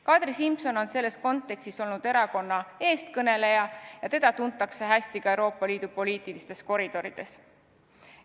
Kadri Simson on selles kontekstis olnud erakonna eestkõneleja ja teda tuntakse hästi ka Euroopa Liidu poliitilistes koridorides.